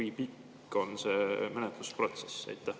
Kui pikk on see menetlusprotsess?